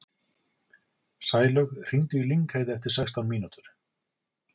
Sælaug, hringdu í Lyngheiði eftir sextán mínútur.